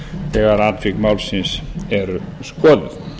þegar atvik málsins eru skoðuð